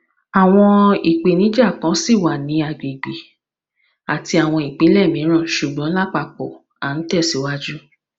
awọn ipenija kan ṣi wa ni agbegbe ati awọn ipinlẹ miiran ṣugbọn lapapọ a n tẹsiwaju